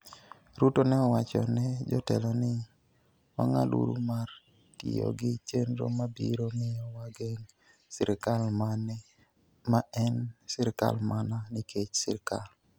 Ruto ne owacho ne jotelo ni, "Wang'aduru mar tiyo gi chenro ma biro miyo wageng' sirkal ma en sirkal mana nikech sirkal".